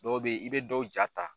Dɔw bɛ ye i bɛ dɔw jaa ta.